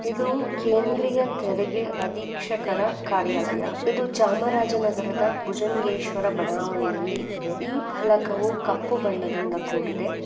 ಇದು ಕೇಂದ್ರೀಯ ತೆರಿಗೆ ಅಧೀಕ್ಷಕರ ಕಾರ್ಯಾಲಯ ಇದು ಚಾಮರಾಜ ನಗರದ ಭುಜಂಗೇಶ್ವರ ಬಡಾವಣೆಯಲ್ಲಿದೆ. ಈ ಫಲಕವು ಕಪ್ಪು ಬಣ್ಣದಿಂದ ಕೂಡಿದೆ.